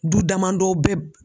Du damadɔ bɛ